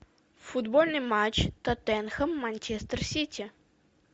футбольный матч тоттенхэм манчестер сити